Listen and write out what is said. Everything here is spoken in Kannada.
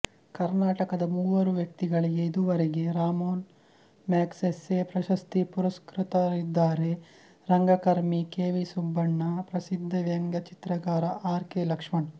ಕರ್ನಾಟಕದ ಮೂವರು ವ್ಯಕ್ತಿಗಳಿಗೆ ಇದುವರೆಗೆ ರಾಮೋನ್ ಮ್ಯಾಗ್ಸೆಸ್ಸೆ ಪ್ರಶಸ್ತಿ ಪುರಸ್ಕ್ರತರಿದ್ದಾರೆರಂಗಕರ್ಮಿ ಕೆವಿಸುಬ್ಬಣ್ಣ ಪ್ರಸಿದ್ದ ವ್ಯಂಗ್ಯ ಚಿತ್ರಕಾರ ಆರ್ ಕೆ ಲಕ್ಷ್ಮಣ್